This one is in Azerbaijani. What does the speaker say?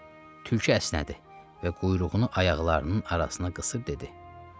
Tülkü əsnədi və quyruğunu ayaqlarının arasına qısıb dedi: